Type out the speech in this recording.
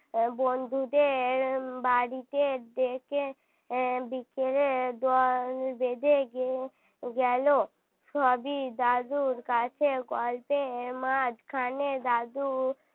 বন্ধুদের বাড়িতে ডেকে উম বিকেলে দল বেঁধে গেল সবই দাদুর কাছে গল্পের মাঝখানে দাদু